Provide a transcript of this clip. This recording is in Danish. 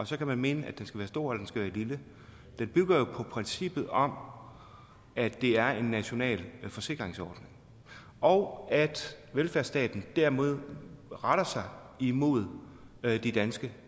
så kan man mene at den skal være stor eller lille jo bygger på princippet om at det er en national forsikringsordning og at velfærdsstaten dermed retter sig mod de danske